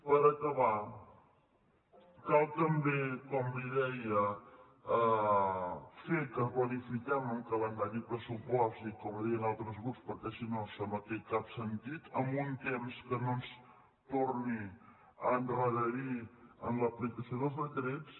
per acabar cal també com li deia fer que planifiquem un calendari de pressupost com li deien altres grups perquè si no això no té cap sentit en un temps que no ens torni a endarrerir en l’aplicació dels decrets